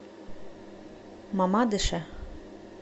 мамадыше